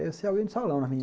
Deve ser alguém de salão